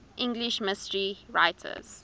english mystery writers